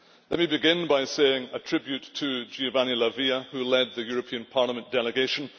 Let me begin by paying a tribute to Giovanni La Via, who led the European Parliament delegation.